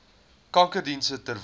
kankerdienste ter wille